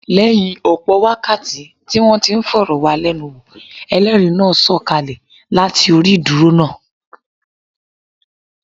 Lẹ́yìn ọ̀pọ̀ wákàtí tí wọ́n ti ń fọ̀rọ̀ wá lẹ́nu wò, Ẹlẹ́rìí náà sọ̀ kalẹ̀ láti orí ìdúró náà.